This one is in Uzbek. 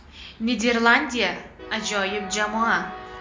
Niderlandiya ajoyib jamoa.